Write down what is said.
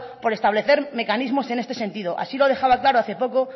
por establecer mecanismos en este sentido así lo dejaba claro hace poco